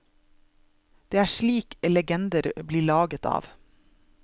Det er slikt legender blir laget av.